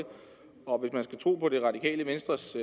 og hvis man skal tro det radikale venstres